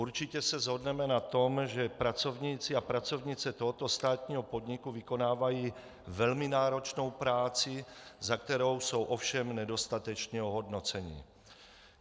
Určitě se shodneme na tom, že pracovníci a pracovnice tohoto státního podniku vykonávají velmi náročnou práci, za kterou jsou ovšem nedostatečně ohodnoceni.